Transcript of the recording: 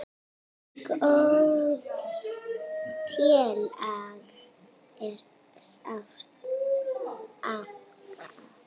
Góðs félaga er sárt saknað.